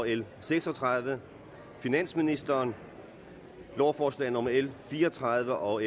l seks og tredive finansministeren lovforslag nummer l fire og tredive og